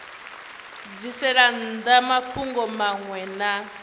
bvisela nnḓa mafhungo maṅwe na